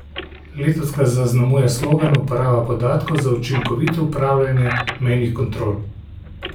Letos ga zaznamuje slogan Uporaba podatkov za učinkovito upravljanje mejnih kontrol.